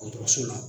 Dɔgɔtɔrɔso la